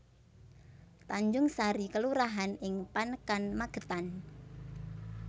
Tanjungsari kelurahan ing Panekan Magetan